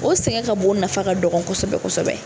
O sɛngɛ ka bon, o nafa ka dɔgɔ kosɛbɛ kosɛbɛ.